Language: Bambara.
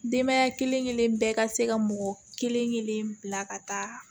Denbaya kelen kelen bɛɛ ka se ka mɔgɔ kelen kelen bila ka taa